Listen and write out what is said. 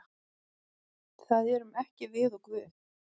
Það erum ekki við og Guð.